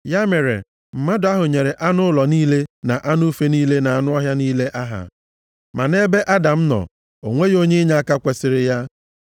Ya mere, mmadụ ahụ nyere anụ ụlọ niile na anụ ufe niile na anụ ọhịa niile aha. Ma nʼebe Adam nọ, o nweghị onye inyeaka kwesiri ya.